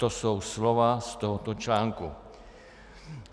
To jsou slova z tohoto článku.